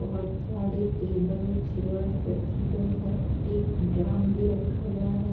बहोत सारी table chairs रखी गई हैं एक ड्राम भी रखा गया है।